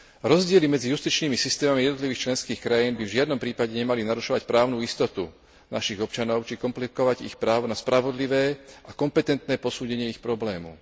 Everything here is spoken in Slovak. Rozdiely medzi justičnými systémami jednotlivých členských krajín by v žiadnom prípade nemali narušovať právnu istotu našich občanov či komplikovať ich právo na spravodlivé a kompetentné posúdenie ich problémov.